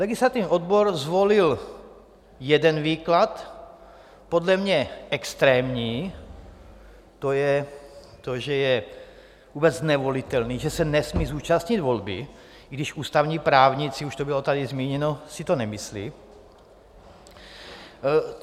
Legislativní odbor zvolil jeden výklad, podle mě extrémní - to je to, že je vůbec nevolitelný, že se nesmí zúčastnit volby, i když ústavní právníci - už to bylo tady zmíněno - si to nemyslí.